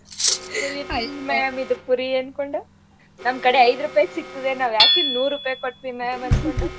N ma'am ಇದು ಪುರಿ ಇದು ಅನ್ಕೊಂಡು ನಮ್ಕಡೆ ಇದು ಐದು ರೂಪಾಯಿಗ್ ಸಿಕ್ತದೆ ಅನ್ಕೊಂಡು ನಾವ್ ಯಾಕಿಲ್ ನೂರ್ ರೂಪಾಯಿ ಕೊಟ್ ತಿನ್ನಣ ಅನ್ಕೊಂಡು.